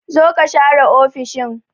Zo ka share ofishin!